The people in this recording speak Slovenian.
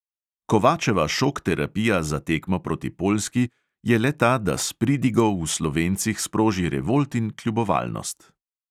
Kovačeva šok terapija za tekmo proti poljski je le ta, da s pridigo v slovencih sproži revolt in kljubovalnost.